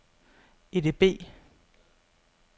EDB